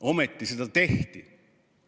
Ometi seda tehti.